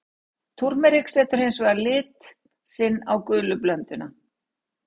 Túrmerik setur hins vegar lit sinn á gulu blönduna.